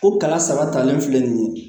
O kala saba talen filɛ nin ye